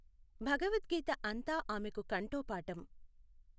భగవద్గీత అంతా ఆమెకు కంఠోపాఠం.